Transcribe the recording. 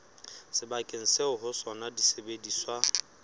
sebakeng seo ho sona disebediswa